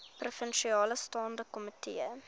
provinsiale staande komitee